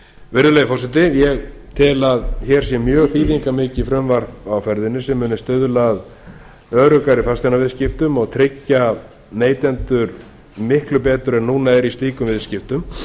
virðulegi forseti ég tel að hér sé mjög þýðingarmikið frumvarp sem mun stuðla að öruggari fasteignaviðskiptum og tryggja neytendur miklu betur en núna er í slíkum viðskiptum